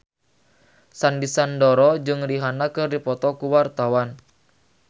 Sandy Sandoro jeung Rihanna keur dipoto ku wartawan